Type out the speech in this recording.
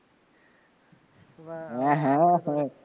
હા હા